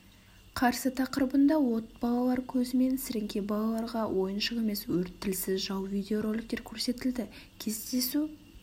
қарсы тақырыбында от балалар көзімен сіріңке балаларға ойыншық емес өрт тілсіз жау видеороликтер көрсетілді кездесу